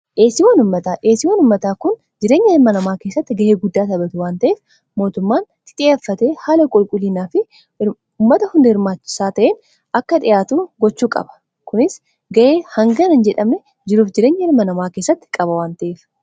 dheesii wanummataa kun jireenya ilma namaa keessatti ga'ee guddaa taphatu wanta'ef mootummaan tixiyaffate haala qulqulliinaa fi ummata hunda irmaasaa ta'in akka dhi'aatu gochuu qaba kunis ga'ee hangana jedhame jiruuf jireenya ilma namaa keessatti qaba wanta'eef